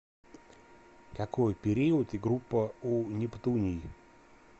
какой период и группа у нептуний